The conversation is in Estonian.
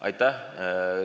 Aitäh!